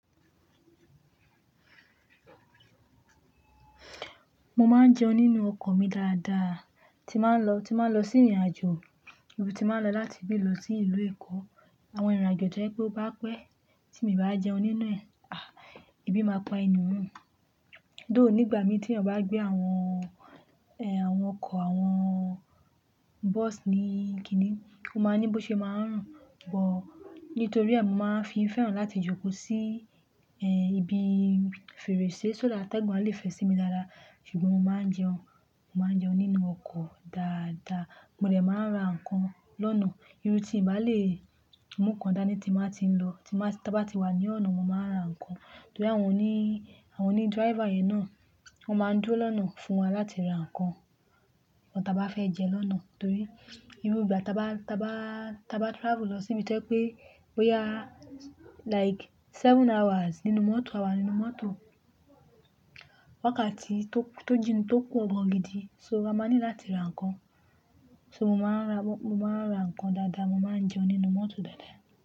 Mo máa ń jẹun nínú ọkọ̀ mi dáadáa, tí máa ń lọ, tí máa ń lọ sí ìrìnàjò, bíi rú tí bá a ń lọ láti ibí lọ sí ìlú Èkó. Àwọn ìrìnàjò tí ẹ pé ó bá pẹ́, tí mo bá jẹun nínú ẹ, ah, èbì máa pa ẹni hun. Dóòní ìgbà mi tí èèyàn bá gbé àwọn, ẹ, àwọn ọkọ̀ àwọn bọ́sì ní kini, o máa ní bó ṣe máa ń rùn. Ṣùgbọ́n nítorí ẹ, mo máa ń fi fẹ́ràn láti jókòó sí, ẹ, ibi fèrèsé. Soda atẹgun a lè fẹ sí mi dáadáa, ṣùgbọ́n mo máa ń jẹun, mo máa ń jẹun nínú ọkọ̀ dáadáa. Mo dẹ̀ máa ń ra ǹkan lọ́nà. Irú tí n bá lè mú kan dání tí mo bá ti ń lọ, tí mo bá, tí a bá ti wà ní ọ̀nà, mo máa ra ǹkan. Torí àwọn òní, àwọn òní driver yẹn náà, wọ́n máa ń dúró lọ́nà fún wa láti ra ǹkan, ǹkan ta bá fẹ́ jẹ lọ́nà. Torí irú ìgbà ta bá, ta bá, ta bá travel lọ síbi tó jẹ́ pé, bó yá like seven hours nínú mọ́tò, àwa nínú mọ́tò. Wákàtí tó, tó jìnà tó pọ̀ gàn gidi, so a máa ní láti ra ǹkan. So mo máa ń ra, mo máa ń ra ǹkan dáadáa, mo máa ń jẹun nínú mọ́tò dáadáa.